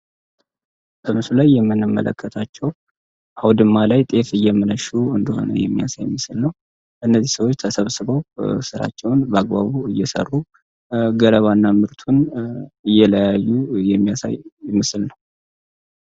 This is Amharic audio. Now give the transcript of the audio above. በምስሉ ላይ የመነመለከታቸው አውድማ ላይ ጤፍ እየመነሹ እንደሆነ የሚያሳ የምስል ነው። እነዚህ ሰዎች ተሰብስበው ሥራቸውን በአግባቡ እየሰሩ ገረባ እና ምርቱን እየለያዩ የሚያሳይ ምስል ነው።